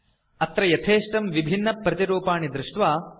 अत्र यथेष्टं विभिन्नप्रतिरूपाणि पश्यन्तु